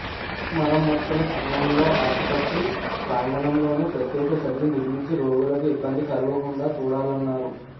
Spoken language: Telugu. మరమ్మతుల సమయంలో ఆసుపత్రి ప్రాంగణంలోనే ప్రత్యేక షెడ్లు నిర్మించి రోగులకు ఇబ్బంది కలుగకుండా చూడాలన్నారు